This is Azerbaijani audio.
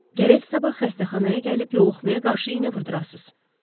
Gərək sabah xəstəxanaya gəlib yoluxmaya qarşı iynə vurdurasız.